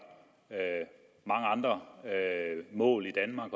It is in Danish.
mange andre mål i danmark